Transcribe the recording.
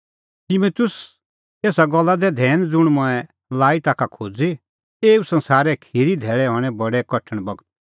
तिमुतुस एसा गल्ला दै धैन ज़ुंण मंऐं लाई ताखा खोज़ी एऊ संसारे खिरीए धैल़ै हणैं बडै कठण बगत